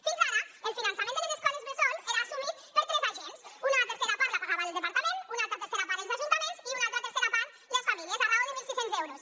fins ara el finançament de les escoles bressol era assumit per tres agents una tercera part la pagava el departament una altra tercera part els ajuntaments i una altra tercera part les famílies a raó de mil sis cents euros